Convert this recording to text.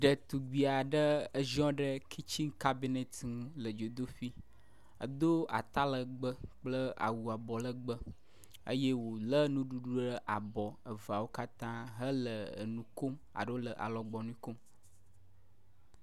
Ɖetugbui aɖe ziɔ ɖe kitchen cabinet ŋu le dzodoƒui, edo ata legbee kple awu abɔ legbee eye wòlé nuɖuɖu ɖe abɔ eveawo katã hele emu kom alo le alɔgbɔnui kom.